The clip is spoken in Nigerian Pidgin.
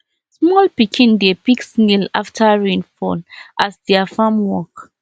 small pikin dey pick snail after rain fall as their farm work